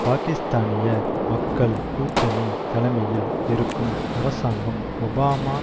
பாக்கிஸ்தானிய மக்கள் கூட்டணி தலைமையில் இருக்கும் அரசாங்கம் ஒபாமா